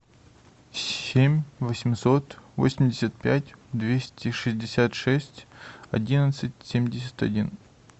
семь восемьсот восемьдесят пять двести шестьдесят шесть одиннадцать семьдесят один